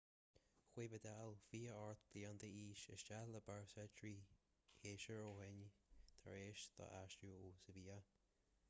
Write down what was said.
chuaigh vidal 28 bliain d'aois isteach le barça trí shéasúr ó shin tar éis dó aistriú ó sevilla